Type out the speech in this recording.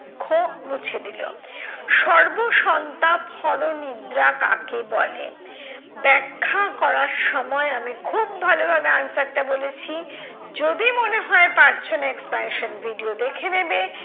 দুঃখ মুছে দিলো। সর্বসন্তাপহর নিদ্রা কাকে বলে? ব্যাখ্যা করার সময় আমি খুব ভালোভাবে answer টা বলেছি। যদি মনে পারছো না explanation video দেখে নেবে।